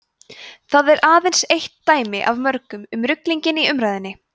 þetta er aðeins eitt dæmi af mörgum um ruglinginn í umræðunni